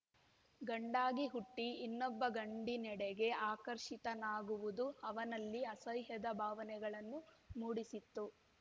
ಗಂಡಾಗಿ ಹುಟ್ಟಿಇನ್ನೊಬ್ಬ ಗಂಡಿನೆಡೆಗೆ ಆಕರ್ಷಿತನಾಗುವುದು ಅವನಲ್ಲಿ ಅಸಹ್ಯದ ಭಾವನೆಗಳನ್ನು ಮೂಡಿಸಿತ್ತು